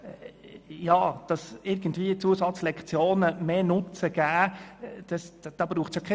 Es braucht keine Studie, die beweist, dass Zusatzlektionen einen zusätzlichen Nutzen haben.